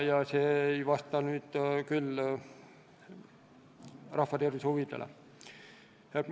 Ja see ei vasta küll rahva tervise huvidele.